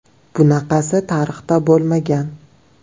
Bunaqasi tarixda bo‘lmagan.